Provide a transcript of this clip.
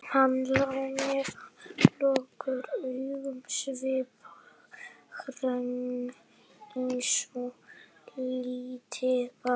Hann lá með lokuð augun sviphreinn eins og lítið barn.